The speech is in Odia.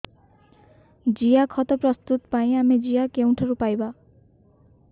ଜିଆଖତ ପ୍ରସ୍ତୁତ ପାଇଁ ଆମେ ଜିଆ କେଉଁଠାରୁ ପାଈବା